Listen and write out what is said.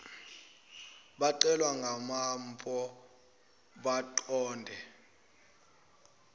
becelwa ngamanpo baqonde